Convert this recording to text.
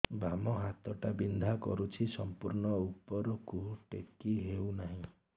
ବାମ ହାତ ଟା ବିନ୍ଧା କରୁଛି ସମ୍ପୂର୍ଣ ଉପରକୁ ଟେକି ହୋଉନାହିଁ